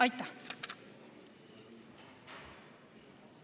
Aitäh!